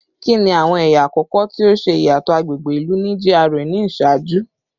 Kini awọn ẹya akọkọ ti o ṣe iyatọ agbegbe ilu ni GRA ni iṣaaju?